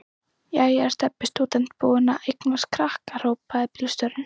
Jæja er Stebbi stúdent búinn að eignast krakka? hrópaði bílstjórinn.